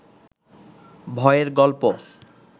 ভয়ের গল্প